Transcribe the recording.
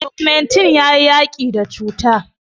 ogumentin ya yaki da cuta